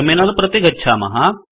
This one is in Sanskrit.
टर्मिनल प्रति गच्छामः